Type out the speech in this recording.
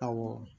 Awɔ